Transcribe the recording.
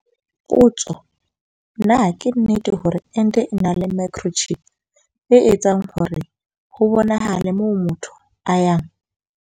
Potso- Na ke nnete hore ente e na le microchip, e etsang hore ho bonahale moo motho a yang?